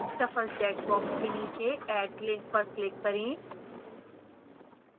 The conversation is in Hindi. shuffle checkbox के नीचे add link पर click करें